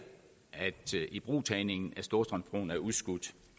at ibrugtagningen af storstrømsbroen er udskudt